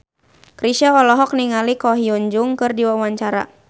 Chrisye olohok ningali Ko Hyun Jung keur diwawancara